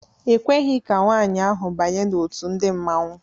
E kweghị ka nwaanyị ahụ banye n'òtù ndị Mmanwu.